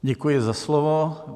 Děkuji za slovo.